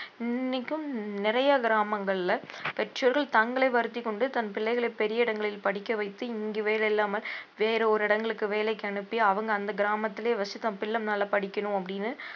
இன்னைக்கும் நிறைய கிராமங்கள்ல பெற்றோர்கள் தங்களை வருத்திக்கொண்டு தன் பிள்ளைகள பெரிய இடங்களில் படிக்க வைத்து இங்கு வேலையில்லாமல் வேறு ஒரு இடங்களுக்கு வேலைக்கு அனுப்பி அவங்க அந்த கிராமத்திலேயே வசித்து தன் பிள்ள மேல படிக்கணும் அப்படின்னு